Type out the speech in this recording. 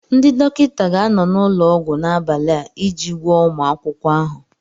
Ndị dọkịta ga-anọ n'ụlọọgwụ n'abalị a iji gwọọ ụmụ akwụkwọ ahụ.